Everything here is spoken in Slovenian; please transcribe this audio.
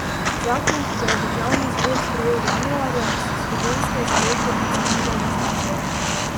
Zakon, ki ga je državni zbor sprejel januarja, so slovenske založbe ocenile različno.